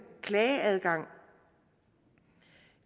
klageadgang